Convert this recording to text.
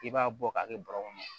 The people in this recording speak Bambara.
I b'a bɔ k'a kɛ kɔnɔ